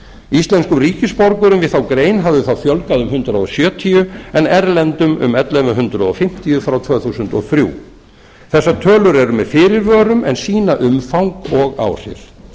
íslenskum ríkisborgurum við þá grein hafði þá fjölgað um hundrað sjötíu en erlendum um ellefu hundruð fimmtíu frá tvö þúsund og þrjú þessar tölur eru með fyrirvörum og sýna umfang og áhrif